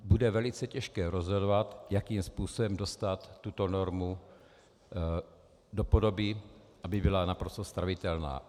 Bude velice těžké rozhodovat, jakým způsobem dostat tuto normu do podoby, aby byla naprosto stravitelná.